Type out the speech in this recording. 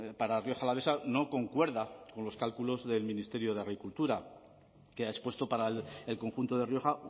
para rioja alavesa no concuerda con los cálculos del ministerio de agricultura que ha expuesto para el conjunto de rioja